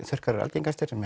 þurrkar eru algengastir